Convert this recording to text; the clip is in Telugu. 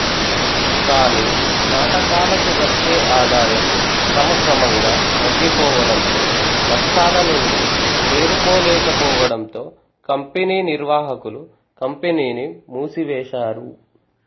కానీ నాటకాలకు వచ్చే ఆదాయం క్రమక్రమంగా తగ్గిపోవడంతో నష్టాలనుండి తేరుకోలేకపోవడంతో కంపెనీ నిర్వాహకులు కంపెనీని మూసివేశారు